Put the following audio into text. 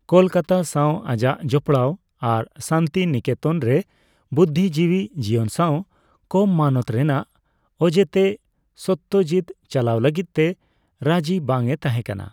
ᱠᱚᱞᱠᱟᱛᱟ ᱥᱟᱣ ᱟᱡᱟᱜ ᱡᱚᱯᱚᱲᱟᱣ ᱟᱨ ᱥᱟᱱᱛᱤᱱᱤᱠᱮᱛᱚᱱ ᱨᱮ ᱵᱩᱫᱽᱫᱷᱤᱡᱤᱵᱤ ᱡᱤᱣᱚᱱ ᱥᱟᱣ ᱠᱚᱢ ᱢᱟᱱᱚᱛ ᱨᱮᱱᱟᱜ ᱚᱡᱮᱛᱮ ᱥᱚᱹᱛᱛᱚᱡᱤᱛ ᱪᱟᱞᱟᱣ ᱞᱟᱹᱜᱤᱫ ᱛᱮ ᱨᱟᱹᱡᱤ ᱵᱟᱝ ᱮ ᱛᱟᱦᱮᱸᱠᱟᱱᱟ ᱾